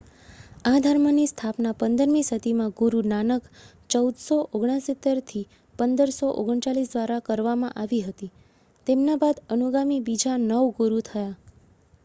આ ધર્મની સ્થાપના 15મી સદીમાં ગુરુ નાનક 1469-1539 દ્વારા કરવામાં આવી હતી. તેમના બાદ અનુગામી બીજા નવ ગુરુ થયા